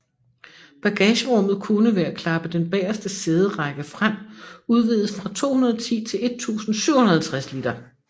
Bagagerummet kunne ved at klappe den bageste sæderække frem udvides fra 210 til 1750 liter